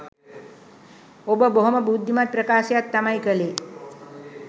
ඔබ බොහොම බුද්ධිමත් ප්‍රකාශයක් තමයි කලේ.